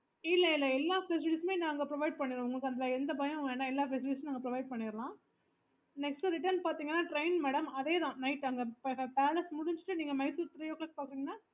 இல்ல இல்ல எல்லா facilities நாங்க provide பண்ணிடுவோம் உங்களுக்கு அதுல எந்த பயமும் வேணாம் எல்லாம் facilities நாங்க provide பண்ணிடலாம் next return பாத்தீங்கன்னா train madam அதே தான் அங்க palace முடிச்சிட்டு நீங்க Mysore three o clock பாக்குறீங்கன்னா